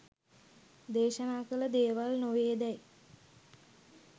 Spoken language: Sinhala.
දේශනා කල දේවල් නොවේදැයි